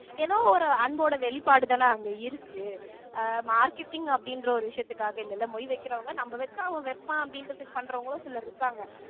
ஏதோ ஒரு அன்போட வெளிப்பாடு தான அங்கே இருக்கு அஹ் marketing அப்படின்ற ஒரு விஷயத்துக்காக இல்லைல்ல மொய் வைக்கிறவங்க நம்ம வச்சா அவன் வைப்பான் அப்படின்றதுக்கு பண்றவங்களும் சிலர் இருக்காங்க